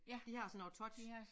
De har sådan noget touch